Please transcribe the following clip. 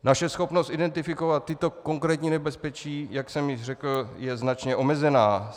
Naše schopnost identifikovat tato konkrétní nebezpečí, jak jsem již řekl, je značně omezená.